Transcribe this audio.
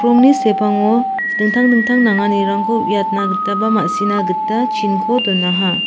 sepango dingtang dingtang nanganirangko uiatna gita ba ma·sina gita chinko donaha.